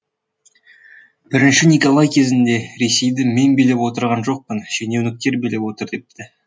і николай кезінде ресейді мен билеп отырған жоқпын шенеуніктер билеп отыр депті